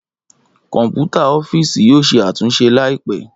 Kọnputa ọfiisi yoo ṣe atunṣe laipẹ.